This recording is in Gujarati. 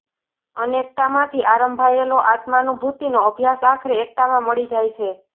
અનેકતામાંથી આરંભાયેલો આત્માનુભૂતિનો અભ્યાસ આખરે એકતામાં મળી જાય છે